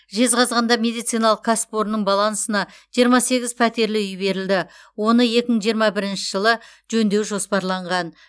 жезқазғанда медициналық кәсіпорынның балансына жиырма сегіз пәтерлі үй берілді оны екі мың жиырма бірінші жылы жөндеу жоспарланған